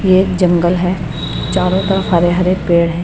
ये एक जंगल है। चारों तरफ हरे हरे पेड़ हैं।